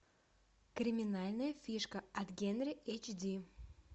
криминальная фишка от генри эйч ди